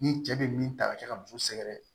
Ni cɛ bɛ min ta ka kɛ ka muso sɛgɛrɛ